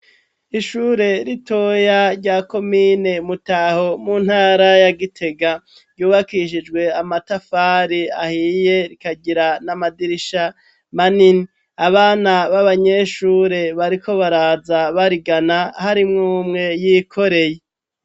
Ishure ritoya rya komine Mutaho mu ntara ya Gitega ryubakishijwe amatafari ahiye rikagira n'amadirisha manini, abana b'abanyeshure bariko baraza barigana hari mw'umwe y'ikoreye